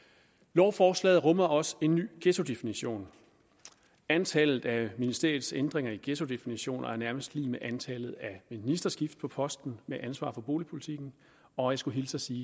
lovforslaget rummer også en ny ghettodefinition antallet af ministeriets ændringer i ghettodefinitionen er nærmest lig med antallet af ministerskift på posten med ansvar for boligpolitikken og jeg skulle hilse og sige